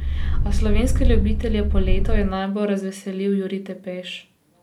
A slovenske ljubitelje poletov je najbolj razveselil Jurij Tepeš.